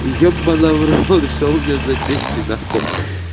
ебана в рот что у меня запись ненаход